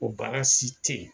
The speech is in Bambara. O baara si tɛ yen.